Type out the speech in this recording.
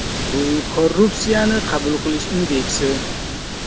Bu korrupsiyani qabul qilish indeksi.